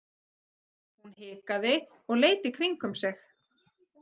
Hún hikaði og leit í kringum sig.